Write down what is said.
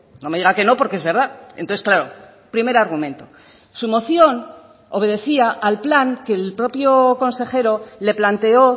no me diga que no porque es verdad entonces claro primer argumento su moción obedecía al plan que el propio consejero le planteó